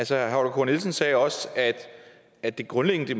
herre holger k nielsen sagde også at det grundlæggende i